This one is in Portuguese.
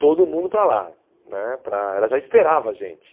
todo mundo para lá né, para ela já esperava a gente.